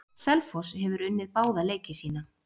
Selfoss hefur unnið báða leiki sína.